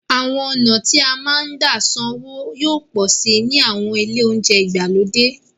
Àwọn ọ̀nà tí a máa ń gbà san owó yóò pọ̀ síi ní àwọn ilé oúnjẹ ìgbàlódé.